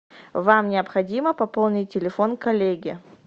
вам необходимо пополнить телефон коллеге